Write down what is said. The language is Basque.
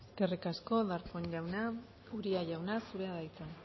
eskerrik asko darpón jauna uria jauna zurea da hitza